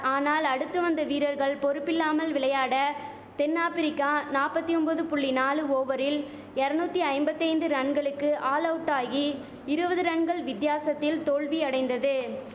ஆனால் அடுத்து வந்த வீரர்கள் பொறுப்பில்லாமல் விளையாட தென்னாப்ரிக்கா நாப்பத்தி ஒம்பது புள்ளி நாலு ஓவரில் எரநுத்தி ஐம்பத்தைந்து ரன்களுக்கு ஆல் அவுட்டாகி இருவது ரன்கள் வித்தியாசத்தில் தோல்வி அடைந்தது